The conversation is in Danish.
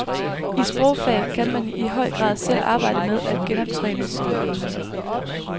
I sprogfag kan man i høj grad selv arbejde med at genoptræne sin kunnen.